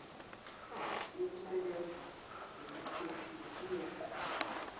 yokulisebenzisa ngokuphephile uyoqhuba